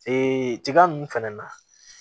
tiga nunnu fɛnɛ na